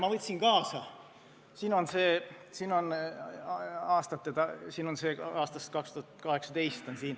Ma võtsin kaasa aastast 2018.